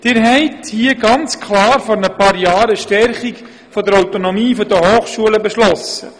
Sie haben hier ganz klar vor ein paar Jahren eine Stärkung der Autonomie der Hochschulen beschlossen;